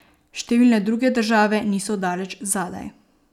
Številne druge države niso daleč zadaj.